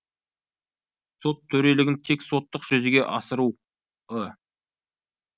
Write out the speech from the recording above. сот төрелігін тек соттық жүзеге асыруы